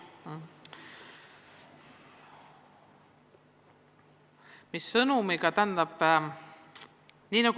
Mis saab?